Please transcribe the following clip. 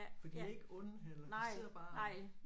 For de er ikke onde heller de sidder bare og